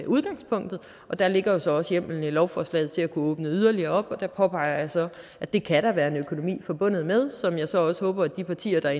udgangspunkt og der ligger jo så også hjemmelen i lovforslaget til at kunne åbne yderligere op der påpeger jeg så at det kan der være en økonomi forbundet med som jeg så også håber at de partier der